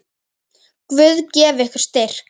Guð gefi ykkur styrk.